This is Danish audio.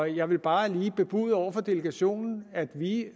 jeg vil bare lige bebude over for delegationen at vi